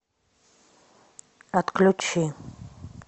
отключи